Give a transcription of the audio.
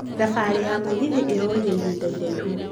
Thabarĩ ya mũgithi ĩraoire ihĩnda iraihu